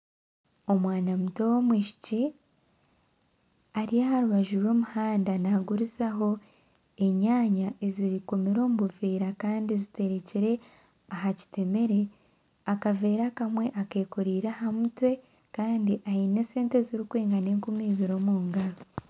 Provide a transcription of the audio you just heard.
Omwana muto w'omwishiki ari aharubaju rw'omuhanda nagurizaho enyanya ezikomire omubuveera Kandi zitekire aha kitemere akavera akamwe akekoreire ahamutwe Kandi aine esente ezirukwingana enkumi ibiri omungaro